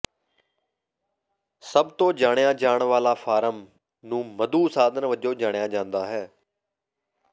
ਸਭ ਤੋਂ ਜਾਣਿਆ ਜਾਣ ਵਾਲਾ ਫਾਰਮ ਨੂੰ ਮਧੂ ਸਾਧਨ ਵਜੋਂ ਜਾਣਿਆ ਜਾਂਦਾ ਹੈ